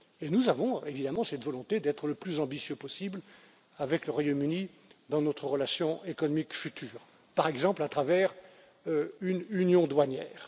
Et nous avons évidemment cette volonté d'être le plus ambitieux possible avec le Royaume Uni dans notre relation économique future, par exemple à travers une union douanière.